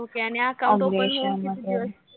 Okay आणि account open झाल्यावर किती दिवस